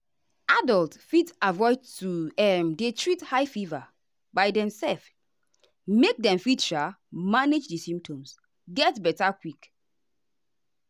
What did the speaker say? adults fit avoid to um dey treat high fever by demself make dem fit um manage di symptoms get beta quick.